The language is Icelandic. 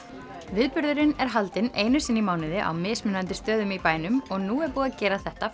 viðburðurinn er haldinn einu sinni í mánuði á mismunandi stöðum í bænum og nú er búið að gera þetta